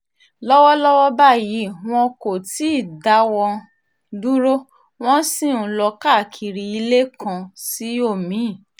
lọ́wọ́lọ́wọ́ báyìí wọn kò tí ì dáwọ́ dúró wọ́n sì ń lọ káàkiri ilé kan sí omi-ín